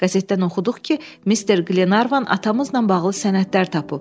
Qəzetdən oxuduq ki, Mister Qlenarvan atamızla bağlı sənədlər tapıb.